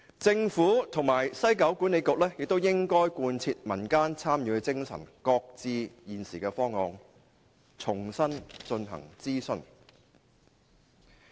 政府及西九管理局亦應貫徹民間參與的精神，擱置現時的方案，重新進行諮詢。